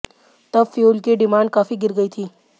तब फ्यूल की डिमांड काफी गिर गई थी